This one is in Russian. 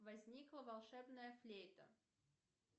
возникла волшебная флейта